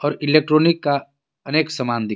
और इलेक्ट्रॉनिक का अनेक सामान दिख रहा--